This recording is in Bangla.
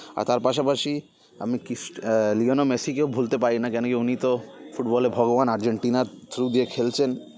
আর তার পাশাপাশি আমি কৃষ্ট এ লিয়ানো ম্যাসিকেও ভুলতে পারিনা কেন কি উনিতো ফুটবলের ভগবান আর্জেন্টিনার through দিয়ে খেলছেন